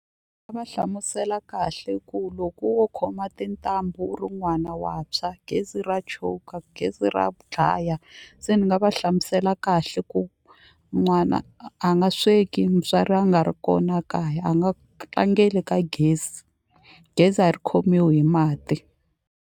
va hlamusela kahle ku loko wo khoma tintambu u ri n'wana wa ntshwa gezi ra choka gezi ra dlaya se ni nga va hlamusela kahle ku n'wana a nga sweki mutswari a nga ri kona kaya a nga tlangeli ka gezi gezi a ri khomiwi hi mati.